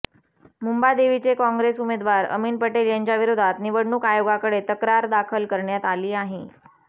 मुंबादेवीचे Congress उमेदवार अमीन पटेल यांच्या विरोधात निवडणूक आयोगाकडे तक्रार दाखल करण्यात आली आहे